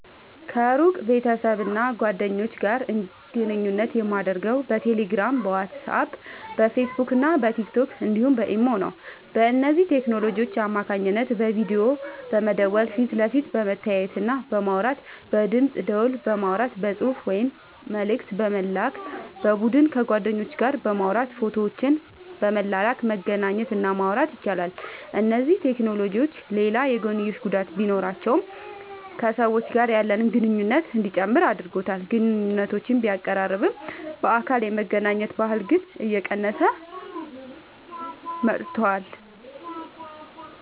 ከሩቅ ቤተሰብና ጓደኞች ጋር ግንኙነት የማደርገው በቴሌግራም፣ በዋትስአፕ፣ በፌስቡክና በቲክቶክ እንዲሁም በኢሞ ነው። በእነዚህ ቴክኖሎጂዎች አማካኝነት በቪዲዮ በመደወል ፊት ለፊት በመተያየትና በማውራት፣ በድምፅ ደወል በማውራት፣ በጽሑፍ ወይም መልእክት በመላክ፣ በቡድን ከጓደኞች ጋር በማውራት ፎቶዎችን በመላላክ መገናኘት እና ማውራት ይቻላል። እነዚህ ቴክኖሎጂዎች ሌላ የጐንዮሽ ጉዳት ቢኖራቸውም ከሰዎች ጋር ያለንን ግንኙነት እንዲጨምር አድርጎታል። ግንኙነቶችን ቢያቀራርብም፣ በአካል የመገናኘት ባህልን ግን እየቀነሰው መጥቷል።